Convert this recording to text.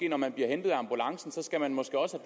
når man bliver hentet af ambulancen måske også